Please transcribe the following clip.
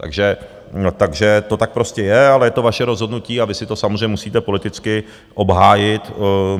Takže to tak prostě je, ale je to vaše rozhodnutí a vy si to samozřejmě musíte politicky obhájit.